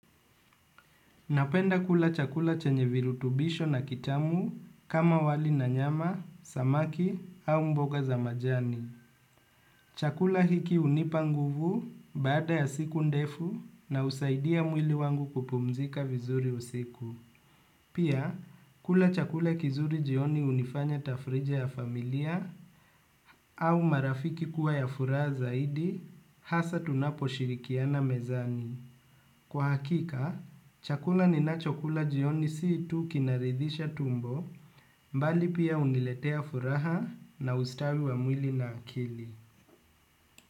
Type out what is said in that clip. Napenda kula chakula chenye virutubisho na kitamu kama wali na nyama, samaki au mboga za majani. Chakula hiki hunipa nguvu baada ya siku ndefu na husaidia mwili wangu kupumzika vizuri usiku. Pia, kula chakula kizuri jioni hunifanya tafrija ya familia au marafiki kuwa ya furaha zaidi hasa tunapo shirikiana mezani. Kwa hakika, chakula ni na chokula jioni si tu kinaridhisha tumbo mbali pia huniletea furaha na ustawi wa mwili na akili.